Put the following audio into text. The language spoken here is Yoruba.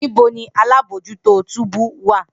Nibo ni alabojuto túbú wa?